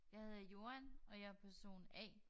Jeg hedder Joan og jeg er person A